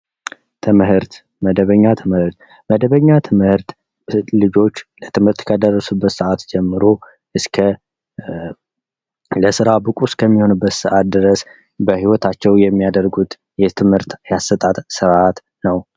ትምህርት መደበኛ ትምህርት መደበኛ ትምህርት፦ ልጆች ለትምህርት ከደረሱበት ሰአት ጀምሮ እስከ ለስራ ብቁ እስከሚሆኑ ድረስ በህይወታቸው የሚያደርጉት የትምህርት የአሰጣጥ ስርአት ነው።